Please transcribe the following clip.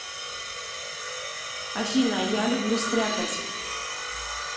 афина я люблю стряпать